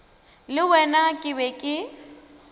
le wena ke be ke